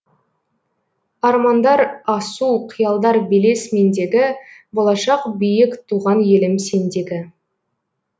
армандар асу қиялдар белес мендегі болашақ биік туған елім сендегі